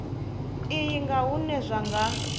iyi nga hune zwa nga